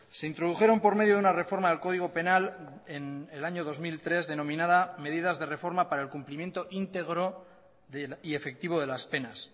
se introdujeron por medio de una reforma del código penal en el año dos mil tres denominada medidas de reforma para el cumplimiento íntegro y efectivo de las penas